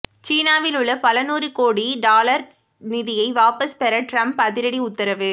சீனாவில் உள்ள பலநூறுகோடி டொலர் நிதியை வாபஸ் பெற ட்ரம்ப் அதிரடி உத்தரவு